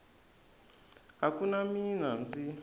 a ku na mina ndzi